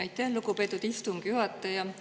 Aitäh, lugupeetud istungi juhataja!